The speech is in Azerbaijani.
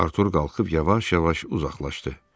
Artur qalxıb yavaş-yavaş uzaqlaşdı.